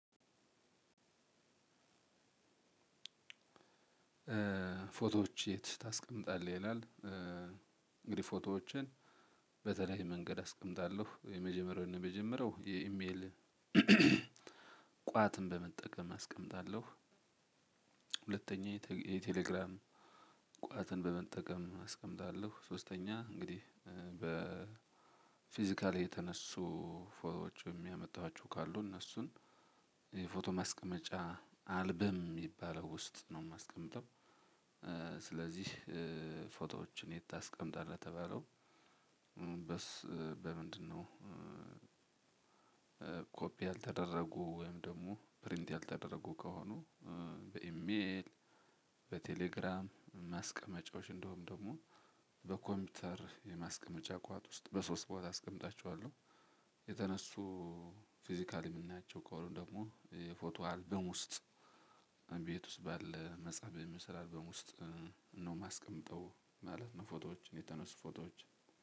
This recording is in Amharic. ፎቶዎች የት ታስቀምጣለህ? ይላል እንግዲህ ፎቶዎችን በተለይ መንገድ አስቀምጣለሁ የመጀመሪያውን የመጀመሪያው የኢሜል ቋትን በመጠቀም አስቀምጣለሁ ሁለተኛ የቴሌግራም ቋትን በመጠቀም አስቀምጣለሁ ሶስተኛ እንግዲህ ፊዚካሊ የተነሱ ፎቶዎች ወይን ያመጣችው ካሉ እነሱን ፎቶ ማስቀመጫ አልበም ውስጥ ነው ማስቀምጠው። ስለዚህ ፎቶዎችን የት ተስቀምጠለህ ለተባለው በምንድነው ያልተደረጉ ወይም ደግሞ ፕሪንት ያልተደረጉ ከሆኑ በኢሜል በቴሌግራም ማስቀመጫዎች እንደውም ደግሞ በኮምፒውተር የማስቀመጫ ቋት ውስጥ በሶስት ቦታ አስቀምጣችኋለሁ። የተነሱ ፊዚካሊ የምናያቸው ከአሁኑ ደግሞ የፎቶ አልበም ውስጥ ቤት ውስጥ ባለ መጸበይ መስራበም ውስጥ ነው የማስቀምጠው ማለት ነው ፎቶዎች የተነሱ ፎቶዎች